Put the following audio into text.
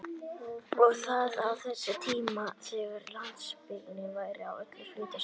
Og það á þessum tímum þegar landsbyggðin væri öll að flytja suður!